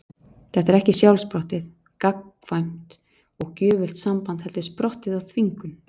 Þetta er ekki sjálfsprottið, gagnkvæmt og gjöfult samband heldur sprottið af þvingun.